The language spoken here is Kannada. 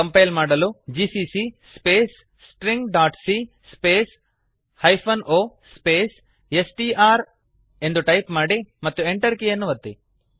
ಕಂಪೈಲ್ ಮಾಡಲು ಜಿಸಿಸಿ ಸ್ಪೇಸ್ stringಸಿಎ space -o hyphen O space str S T R ಎಂದು ಟೈಪ್ ಮಾಡಿ ಮತ್ತು Enter ಅನ್ನು ಒತ್ತಿ